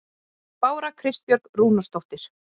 Bára Kristbjörg Rúnarsdóttir